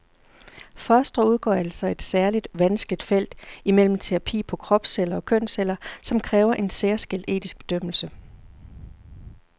Fostre udgør altså et særligt vanskeligt felt imellem terapi på kropsceller og kønsceller, som kræver en særskilt etisk bedømmelse.